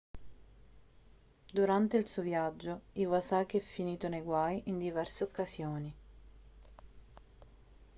durante il suo viaggio iwasaki è finito nei guai in diverse occasioni